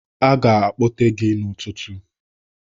Aga akpọte gị n'ụtụtụ.